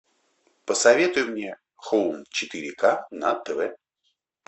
посоветуй мне хоум четыре ка на тв